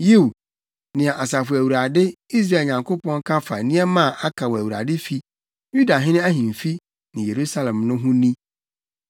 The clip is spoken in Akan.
Yiw, nea Asafo Awurade, Israel Nyankopɔn, ka fa nneɛma a aka wɔ Awurade fi, Yudahene ahemfi ne Yerusalem no ho no ni: